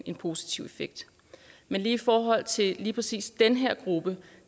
en positiv effekt men i forhold til lige præcis den her gruppe